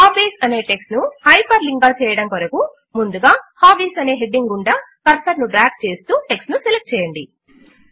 hobbies అనే text ను hyperlink గా చేయడము కొరకు ముందుగా హాబీస్ అనే హెడింగ్ గుండా కర్సర్ ను డ్రాగ్ చేస్తూ టెక్స్ట్ ను సెలెక్ట్ చేయండి